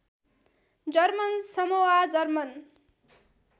German Samoa German